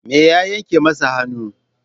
Me ya yanke masa hannu?